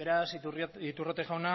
beraz iturrate jauna